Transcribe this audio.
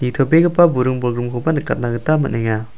nitobegipa buring-bolgrimkoba nikatna gita man·enga.